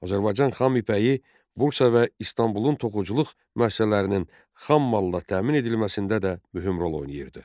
Azərbaycan xam ipəyi Bursa və İstanbulun toxuculuq müəssisələrinin xammalla təmin edilməsində də mühüm rol oynayırdı.